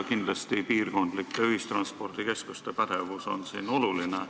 Piirkondlike ühistranspordikeskuste pädevus on kindlasti oluline.